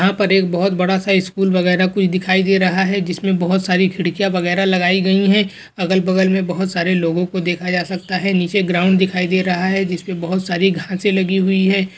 यहाँ पर एक बहुत बड़ा सा स्कूल वगेरा कुछ दिखाई दे रहा है जिसमें बहुत सारी खिड़कियाँ वगेरा लगायी गयी है अगल वगल में बहुत सारे लोगो को देखा जा सकता है | निचे ग्राउंड दिखाई दे रहा है जिसमें बहुत सारी घासें लगी हुई है।